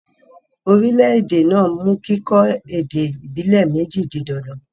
orílẹ̀-èdè náà mú kí kíkọ́ èdè ìbílè méjì di dandan